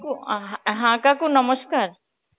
অ্যাঁ হ্যাঁ কাকু নমস্কার